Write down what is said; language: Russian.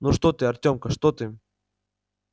ну что ты артёмка что ты